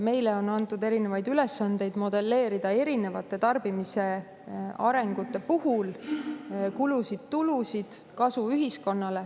Meile on antud erinevaid ülesandeid modelleerida tarbimise erinevate arengute puhul kulusid-tulusid, kasu ühiskonnale.